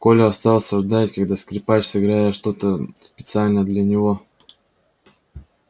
коля остался ждать когда скрипач сыграет что то специально для него